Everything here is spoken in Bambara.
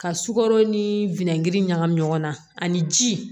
Ka sukaro ni wɛnbiri ɲagami ɲɔgɔn na ani ji